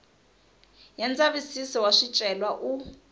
ya ndzavisiso wa swicelwa u